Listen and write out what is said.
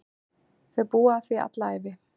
Þau búa að því alla ævi.